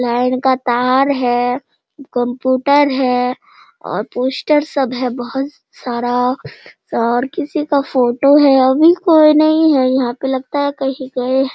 Line का तार है कंप्यूटर है और पोस्टर सब है बहुत सारा और किसी का फोटो है | अभी कोई नहीं है यहाँ पे लगता है कहीं गए है।